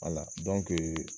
Ala